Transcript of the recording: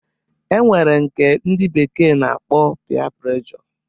E nwere nke ndị bekee na-akpọ pịa pregjo